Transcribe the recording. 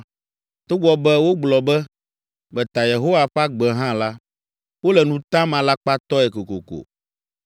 Togbɔ be wogblɔ be, ‘Meta Yehowa ƒe agbe’ hã la, wole nu tam alakpatɔe kokoko.”